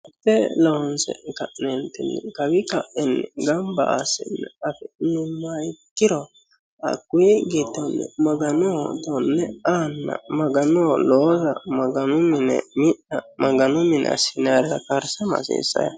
Loonse ka'netini kawi ka'iintinni gambba assine afi'neemmohu ikkiro hakkuyi giddonni maganoho aa maganoho loosanna maganoho mixxa hasiissano yaate.